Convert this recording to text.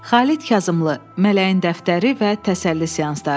Xalid Kazımlı, mələyin dəftəri və təsəlli seansları.